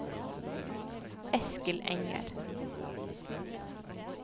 Eskil Enger